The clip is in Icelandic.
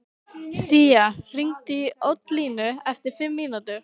Sía, hringdu í Oddlínu eftir fimm mínútur.